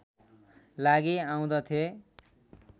लागि आउँदथे